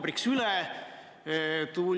Selgitan teile uuesti Eesti välisdiplomaatia põhimõtteid.